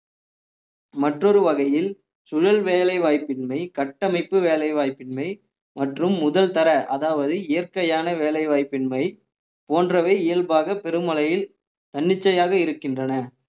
மற்றொரு வகையில் சூழல் வேலை வாய்ப்பின்மை கட்டமைப்பு வேலைவாய்ப்பின்மை மற்றும் முதல் தர அதாவது இயற்கையான வேலைவாய்ப்பின்மை போன்றவை இயல்பாக பெருமழையில் தன்னிச்சையாக இருக்கின்றன